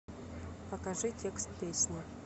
покажи текст песни